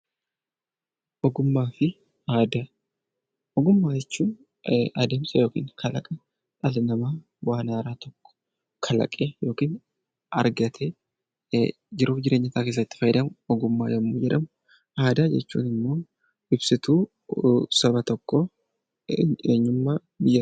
Ogummaa fi aadaa Ogummaa jechuun adeemsa yookiis kalaqa dhalli namaa waan haaraa tokko kalaqee yookiin argatee jiruuf jireenya isaa keessatti argatu Ogummaa yommuu jedhamu; Aadaa jechuun immoo ibsituu saba tokkoo, eenyummaa biyyaa ti.